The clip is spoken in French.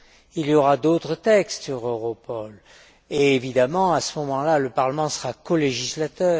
Il y aura d'autres textes sur Europol et, évidemment, à ce moment là, le Parlement sera colégislateur.